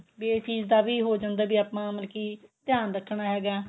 ਵੀ ਇਹ ਚੀਜ ਦਾ ਵੀ ਹੋ ਜਾਂਦਾ ਵੀ ਆਪਾਂ ਮਤਲਬ ਕੀ ਧਿਆਨ ਰੱਖਣਾ ਹੈਗਾ